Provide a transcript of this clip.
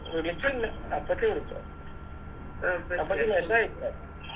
വിളിച്ചില്ല അപ്പച്ചി വിളിച്ച അപ്പച്ചി Message അയച്ചതാ